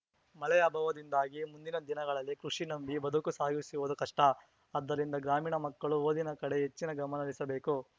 ಮಳೆ ಅಭಾವದಿಂದಾಗಿ ಮುಂದಿನ ದಿನಗಳಲ್ಲಿ ಕೃಷಿ ನಂಬಿ ಬದುಕು ಸಾಗಿಸುವುದು ಕಷ್ಟ ಆದ್ದರಿಂದ ಗ್ರಾಮೀಣ ಮಕ್ಕಳು ಓದಿನ ಕಡೆ ಹೆಚ್ಚಿನ ಗಮನಹರಿಸಬೇಕು